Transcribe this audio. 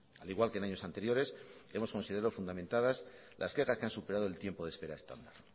al igual que en años anteriores hemos considerado fundamentadas las quejas que han superado el tiempo de espera estándar